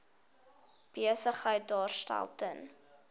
besigheid daarstel ten